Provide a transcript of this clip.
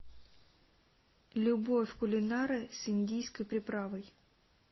любовь кулинара с индийской приправой